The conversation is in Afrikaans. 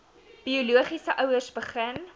biologiese ouers begin